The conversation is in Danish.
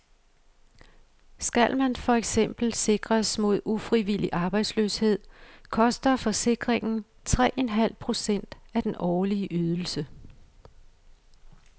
Skal man for eksempel sikres mod ufrivillig arbejdsløshed, koster forsikringen tre en halv procent af den årlige ydelse.